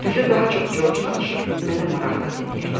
Düzü daha çox Corc danışır, mən də maraqla dinləyirdim.